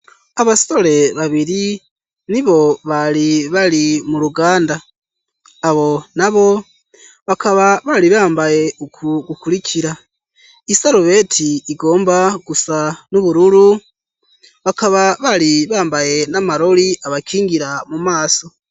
Abasore babiri nibo bari bari mu ruganda. Abo nabo bakaba bari bambaye uku gukurikira: isarubeti igomba gusa n'ubururu, bakaba bari bambaye n'amarori abakingira mu maso.